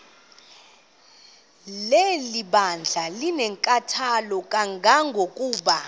lebandla linenkathalo kangangokuba